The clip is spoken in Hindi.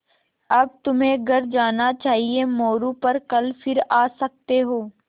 अब तुम्हें घर जाना चाहिये मोरू पर कल फिर आ सकते हो